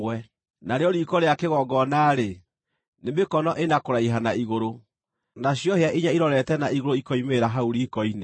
Narĩo riiko rĩa kĩgongona-rĩ, nĩ mĩkono ĩna kũraiha na igũrũ, nacio hĩa inya irorete na igũrũ ikoimĩrĩra kuuma hau riiko-inĩ.